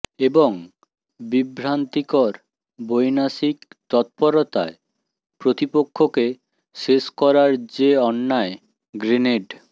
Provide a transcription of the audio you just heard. এবং বিভ্রান্তিকর বৈনাশিক তৎপরতায় প্রতিপক্ষকে শেষ করার যে অন্যায় গ্রেনেড